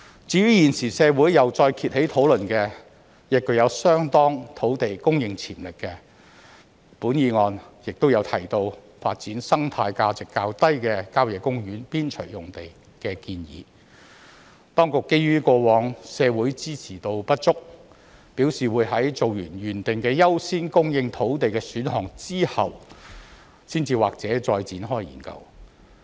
至於現時社會再次掀起討論的、具有相當土地供應潛力的、本議案亦有提到的發展生態價值較低的郊野公園邊陲用地的建議，當局基於過往社會支持度不足，表示會在完成原訂的優先供應土地的選項後，才或許再展開研究。